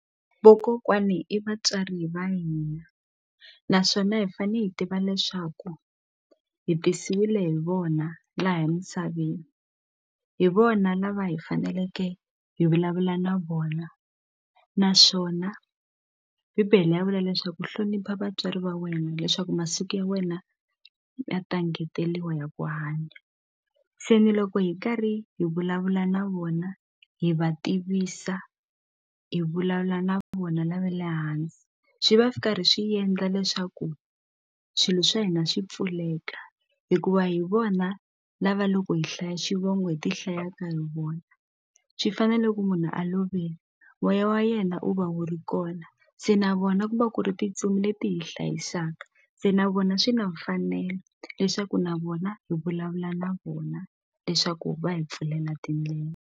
Vokokwani i vatswari va hina naswona hi fane hi tiva leswaku hi tisiwile hi vona laha emisaveni hi vona lava hi faneleke hi vulavula na vona naswona bibele ya vula leswaku hlonipha vatswari va wena leswaku masiku ya wena ya ta engeteliwa ya ku hanya se ni loko hi karhi hi vulavula na vona hi va tivisa hi vulavula na vona lava le hansi swi va swi karhi swi yendla leswaku swilo swa hina swi pfuleka hikuva hi vona lava loko hi hlaya xivongo hi ti hlayaka hi vona swi fana loko munhu a lovile moya wa yena u va wu ri kona se na vona ku va ku ri tintsumi leti hi hlayisaka se na vona swi na mfanelo leswaku na vona hi vulavula na vona leswaku va hi pfulela tindlela.